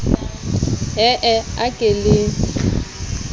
e e a ke le